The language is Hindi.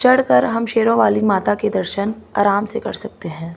चढ़कर हम शेरों वाली माता के दर्शन आराम से कर सकते हैं।